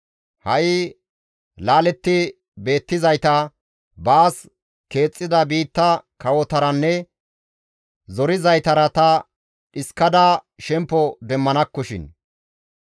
Ha7i laaletti beettizayta baas keexxida biitta kawotaranne zorizaytara ta dhiskada shemppo demmanakkoshin.